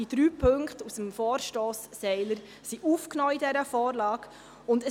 Die drei Punkte aus dem Vorstoss von Grossrat Seiler wurden in dieser Vorlage aufgenommen.